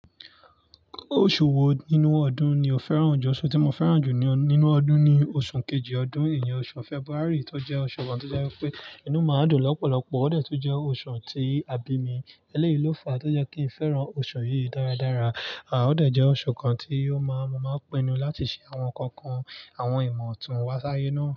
Oṣù wo nínú ọdún ni o fẹ́ràn jù? Oṣù tí mo fẹ́ràn jù nínú ọdún ni oṣù kejì ọdún yíyẹn, oṣù February. Tó jẹ́ oṣù kan tó jẹ́ pé inú máa dùn lọ́pọ̀lọpọ̀. Ó dè tún jẹ́ oṣù tí a bi mí, eléyìí ló fà á tó jẹ́ kí n fẹ́ràn oṣù yìí dáradára. À ó dèjẹ́ oṣù kan tí ó máa, mo máa pinu láti ṣe àwọn kankan, àwọn ìmọ̀tún wá sáyé náà.